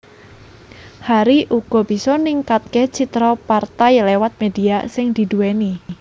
Hari uga bisa ningkatke citra partai liwat media sing didhuweni